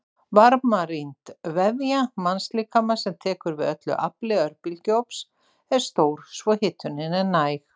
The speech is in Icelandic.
Varmarýmd vefja mannslíkama sem tekur við öllu afli örbylgjuofns er stór svo hitunin er hæg.